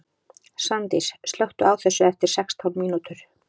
Svandís, slökktu á þessu eftir sextán mínútur.